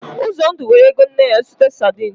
Uzondu weere ego nne ya zụta sadin.